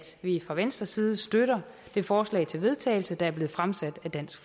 vi fra venstres side støtter det forslag til vedtagelse der er blevet fremsat af dansk